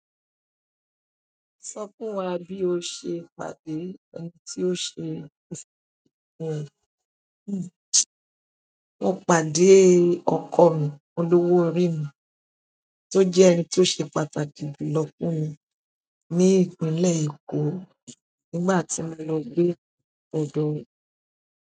Sọ fún wa bí o ṣe pàdé ẹni tí ó ṣe ìfipín ẹ. Mo pàdé ọkọ mi, olówó orí mi, tó jẹ́ ẹni tó ṣe pàtàkì jùlọ fún mi ní Ìpínlẹ̀ Èkó nígbà tí mo lọ gbé ọ̀dọ̀ rẹ̀.